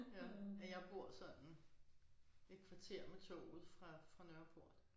Ja ja jeg bor sådan et kvarter med toget fra fra Nørreport